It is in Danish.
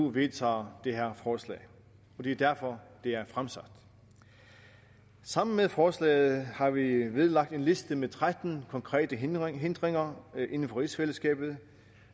vedtager det her forslag og det er derfor det er fremsat sammen med forslaget har vi vedlagt en liste med tretten konkrete hindringer hindringer inden for rigsfællesskabet